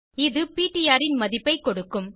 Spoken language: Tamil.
இது பிடிஆர் ன் மதிப்பைக் கொடுக்கும்